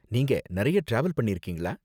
நீங்க நிறைய டிராவல் பண்ணிருக்கீங்களா?